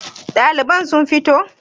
Daliban sun fito?